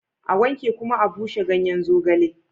A wanke kuma a bushe ganyen zogale